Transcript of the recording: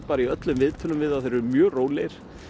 í öllum viðtölum við þá að þeir séu mjög rólegir